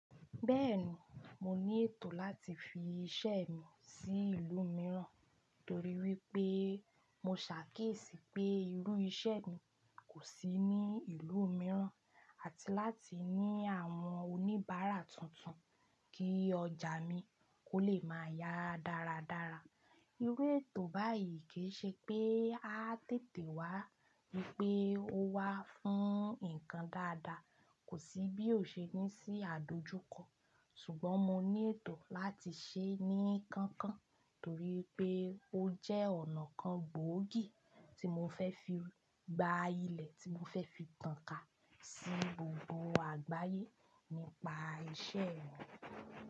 Bẹ́ẹ̀ni, mo ní ètò láti fi iṣẹ́ mi sí ìlú mìíràn nítorí wípé mo ṣàkíyèsí pé irú iṣẹ́ mi kò sí ní ìlú mìíràn àti láti ní àwọn oníbàárà tuntun kí ọjà mi kó lè máa yá dáradára. Irú ètò báyìí kì í ṣe pé a tètè wá wípé ó wá fún ǹkan dáadáa, kò sí bí ó ṣe ní sí àdojúkọ ṣùgbọ́n mo ní ètò láti ṣe ní kankan torí pé ó jẹ́ ọ̀nà kan gbòógì tí mo fẹ́ fi gba ilẹ̀ tí mo fẹ́ fi tàn ká sí gbogbo àgbáyé nípa iṣẹ́ mi.